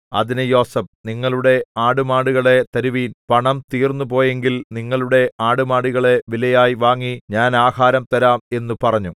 അതിന് യോസേഫ് നിങ്ങളുടെ ആടുമാടുകളെ തരുവിൻ പണം തീർന്നുപോയെങ്കിൽ നിങ്ങളുടെ ആടുമാടുകളെ വിലയായി വാങ്ങി ഞാൻ ആഹാരം തരാം എന്നു പറഞ്ഞു